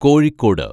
Kozhikode